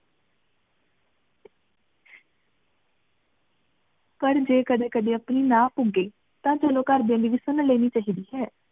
ਪਰ ਜੇ ਕਦੀ ਕਦੀ ਆਪਣੀ ਨਾ ਪੁਗ੍ਯ ਟੀ ਸਾਨੂ ਘਰ ਵਾਲੀਆ ਦੀ ਵੀ ਸੁਨ ਲੇਨੀ ਚਾਹੀ ਦੀ ਹੈ